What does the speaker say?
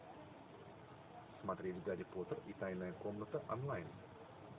смотреть гарри поттер и тайная комната онлайн